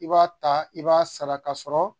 I b'a ta i b'a saraka sɔrɔ